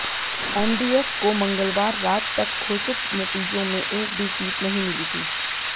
NDF को मंगलवार रात तक घोषित नतीजों में एक भी सीट नहीं मिली थी